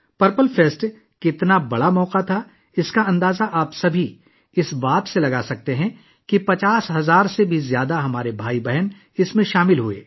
purple festival کتنا بڑا موقع تھا، آپ سب اس بات سے اندازہ لگا سکتے ہیں کہ اس میں ہمارے 50 ہزار سے زیادہ بھائی بہنوں نے شرکت کی